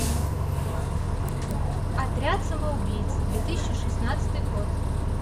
отряд самоубийц две тысячи шестнадцатый год